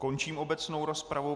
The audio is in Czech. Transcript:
Končím obecnou rozpravu.